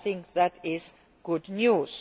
I think that is good news.